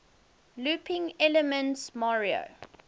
looping elements mario